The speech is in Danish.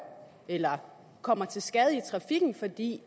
eller kommer til skade i trafikken fordi